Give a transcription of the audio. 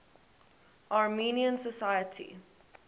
armenian society